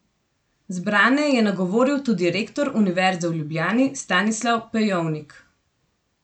Zbrane je nagovoril tudi rektor Univerze v Ljubljani Stanislav Pejovnik.